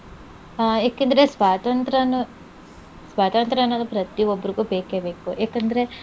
ಆಹ್ ಯಾಕಂದ್ರೆ ಸ್ವಾತಂತ್ರ್ಯನು ಸ್ವಾತಂತ್ರ್ಯ ಅನ್ನೋದು ಪ್ರತಿ ಒಬ್ರಿಗೂ ಬೇಕೇ ಬೇಕು ಯಾಕಂದ್ರೆ